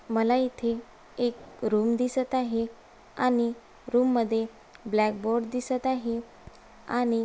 मला इथे एक रूम दिसत आहे आणि रूम मधे ब्लॅक बोर्ड दिसत आहे आणि--